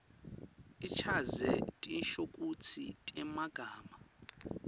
achaze tinshokutsi temagama